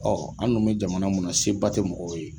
Ɔ an dun bɛ jamana min na seba tɛ mɔgɔw ye